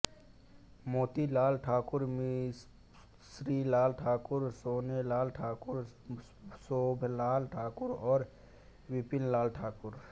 मोतीलाल ठाकुर मिश्रीलाल ठाकुर सोनेलाल ठाकुर शोभलाल ठाकुर और बिपिनलाल ठाकुर